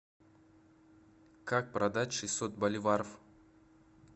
как продать шестьсот боливаров